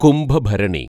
Kumbhabharani